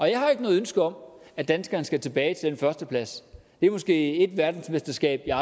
jeg har ikke noget ønske om at danskerne skal tilbage til den førsteplads det er måske et verdensmesterskab jeg